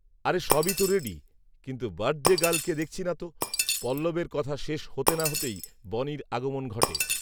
আরে সবই তো রেডি, কিন্তু বার্থডে গার্লকে দেখছি নাতো, পল্লবের কথা শেষ হতে না হতেই বনির আগমন ঘটে